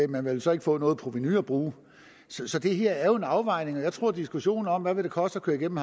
man ville så ikke få noget provenu at bruge så det her er jo en afvejning og jeg tror at diskussionen om hvad det vil koste at køre igennem